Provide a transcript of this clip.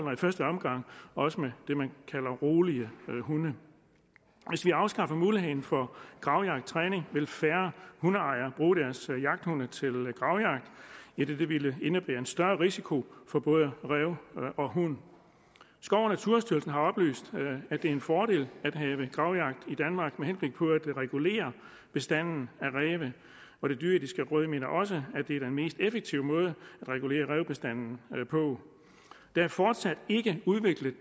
og i første omgang også med det man kalder rolige hunde hvis vi afskaffer muligheden for gravjagttræning vil færre hundeejere bruge deres jagthunde til gravjagt idet det ville indebære en større risiko for både ræv og hund skov og naturstyrelsen har oplyst at det er en fordel at have gravjagt i regulere bestanden af ræve og det dyreetiske råd mener også at det er den mest effektive måde at regulere rævebestanden på der er fortsat ikke udviklet